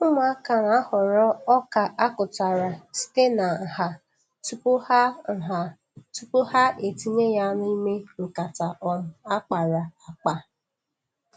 Ụmụaka na-ahọrọ ọka a kụtara site na nha tupu ha nha tupu ha etinye ya n'ime nkata um a kpara akpa.